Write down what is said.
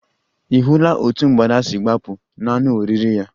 Ị̀ hụla otú mgbada si gbapụ n'anụ oriri ya?